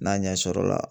N'a ɲɛsɔrɔla